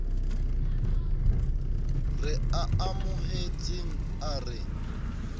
re a amohetseng a re